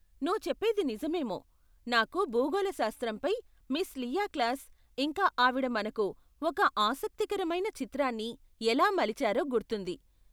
నువ్వు చెప్పేది నిజమేమో! నాకు భూగోళశాస్త్రంపై మిస్ లియా క్లాస్, ఇంకా ఆవిడ మనకు ఒక ఆసక్తికరమైన చిత్రాన్ని ఎలా మలిచారో గుర్తుంది.